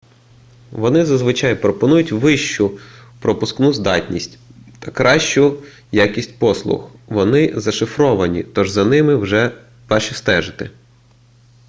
вони зазвичай пропонують вищу пропускну здатність та кращу якість послуг вони зашифровані тож за ними важче стежити